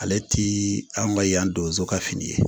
Ale ti anw ka yan donso ka fini ye